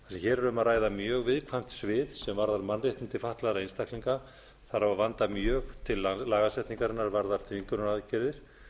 hér er um að ræða mjög viðkvæmt svið sem varðar mannréttindi fatlaðra einstaklinga þarf að vanda mjög til lagasetningar varðandi þvingunaraðgerðir